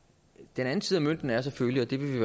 den anden side af mønten er selvfølgelig og det vil vi